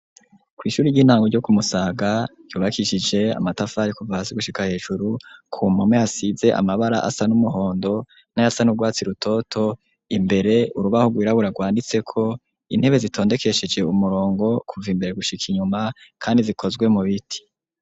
Kw'ishure ry'intango ryo ku Musaga ryubakishije amatafari kuva hasi gushika hejuru, ku mpome hasize amabara asa n'umuhondo n'ayasa n'urwatsi rutoto, imbere urubaho rwirabura rwanditseko, intebe zitondekesheje umurongo kuva imbere gushika inyuma kandi zikozwe mu biti.